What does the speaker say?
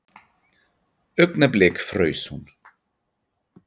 Augnablik fraus hún.